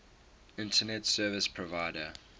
internet service provider